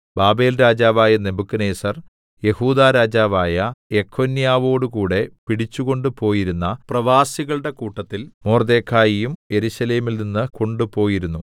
ബാബേൽരാജാവായ നെബൂഖദ്നേസർ യെഹൂദാ രാജാവായ യെഖൊന്യാവോടുകൂടെ പിടിച്ചു കൊണ്ടുപോയിരുന്ന പ്രവാസികളുടെ കൂട്ടത്തിൽ മൊർദെഖായിയും യെരൂശലേമിൽനിന്ന് കൊണ്ടുപോയിരുന്നു